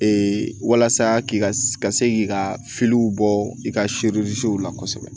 walasa k'i ka se k'i ka bɔ i ka la kosɛbɛ